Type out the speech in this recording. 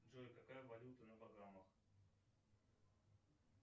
джой какая валюта на багамах